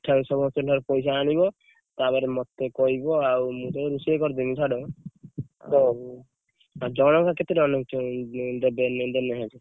ସମସ୍ତଙ୍କ ଠାରୁ ପଇସା ଆଣିବ। ତାପରେ ମତେ କହିବ, ଆଉ ମୁଁ ରୋଷେଇ କରିଦେବି, ଛାଡ ଆଉ ଜଣ କା କେତେ ଟଙ୍କା ଲେଖା ଦେବେ ଜଣେ ଲେଖା?